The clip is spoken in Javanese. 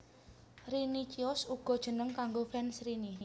Rinicious uga jeneng kanggo fans Rini